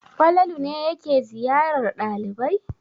Falalu ne yake ziyarar ɗalibai?